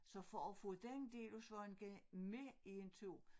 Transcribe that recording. Så for at få den del af Svaneke med i en tur